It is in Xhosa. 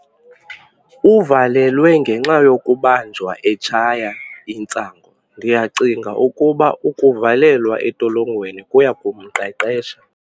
Uvalelwe ngenxa yokubanjwa etshaya intsangu. ndiyacinga ukuba ukuvalelwa entolongweni kuya kumqeqesha